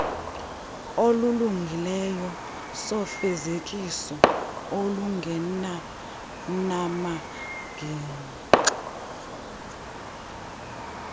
esilungileyo sofezekiso olungenanamagingxi